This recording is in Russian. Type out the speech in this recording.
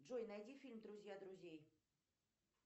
джой найди фильм друзья друзей